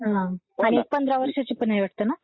हं आणि एक पंधरा वर्षांची पण आहे वाटतं ना?